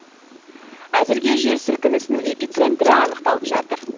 әзірге жер сілікінісің эпицентрі анықталып жатыр